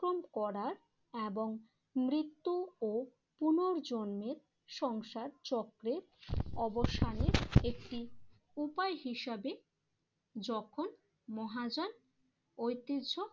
অতিক্রম করার এবং মৃত্যু ও পুনর্জন্মের সংসার চক্রের অবসানের একটি উপায় হিসেবে যখন মহাযান ঐতিহ্য